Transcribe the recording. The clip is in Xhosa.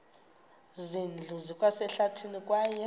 zindlu zikwasehlathini kwaye